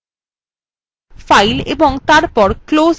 file ও তারপর closeএ ক্লিক করে file বন্ধ করুন